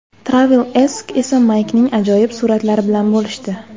TravelAsk esa Maykning ajoyib suratlari bilan bo‘lishdi.